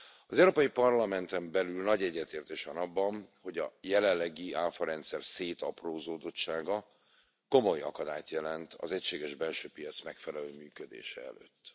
Az Európai Parlamenten belül nagy egyetértés van abban, hogy a jelenlegi áfarendszer szétaprózódottsága komoly akadályt jelent az egységes belső piac megfelelő működése előtt.